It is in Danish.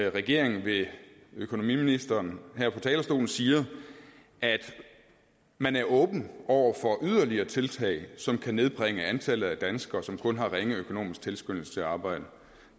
at regeringen ved økonomiministeren her fra talerstolen siger at man er åben over for yderligere tiltag som kan nedbringe antallet af danskere som kun har ringe økonomisk tilskyndelse til at arbejde